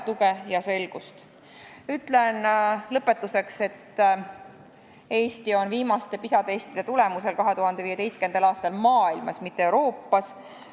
Ütlen lõpetuseks, et Eesti oli viimase PISA testi tulemusel 2015. aastal maailmas – mitte Euroopas!